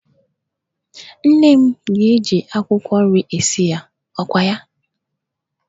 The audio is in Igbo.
Nne m ga-eji akwụkwọ nri esi ya, ọkwa ya?